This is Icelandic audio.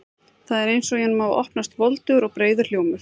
Það er eins og í honum hafi opnast voldugur og breiður hljómur.